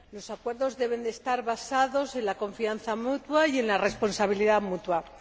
Los acuerdos deben de estar basados en la confianza mutua y en la responsabilidad mutua.